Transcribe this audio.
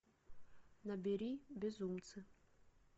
набери безумцы